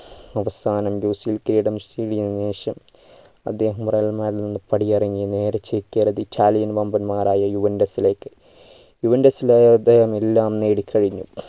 അവസാനം ശേഷം അദ്ദേഹം real madrid ന്ന് പടിയിറങ്ങി നേരെ ചേക്കേറിയത് italian വമ്പന്മാരായ juventos ലേക്ക് juventus ലെ എല്ലാം അദ്ദേഹം നേടി കഴിഞ്ഞു